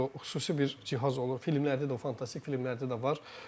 O xüsusi bir cihaz olur, filmlərdə də, o fantastik filmlərdə də var.